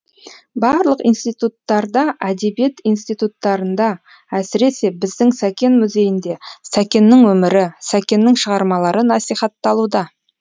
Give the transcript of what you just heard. барлық институттарда әдебиет институттарында әсіресе біздің сәкен музейінде сәкеннің өмірі сәкеннің шығармалары насихатталуда